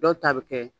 Dɔw ta bɛ kɛ